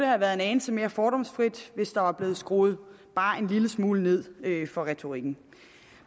have været en anelse mere fordomsfrit hvis der var blevet skruet bare en lille smule ned for retorikken